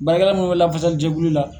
Baara kɛla mun bɛ lafasali jɛkulu la.